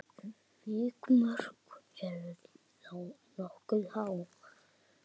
Vikmörk eru þá nokkuð há.